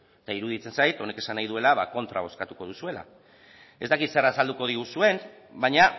eta iruditzen zait honek esan nahi duela ba kontra bozkatuko duzuela ez dakit zer azalduko diguzuen baina